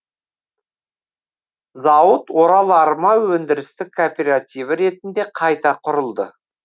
зауыт орал арма өндірістік кооперативі ретінде қайта құрылды